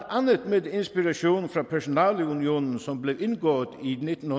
andet med inspiration fra personalunionen som blev indgået i nitten